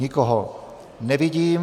Nikoho nevidím.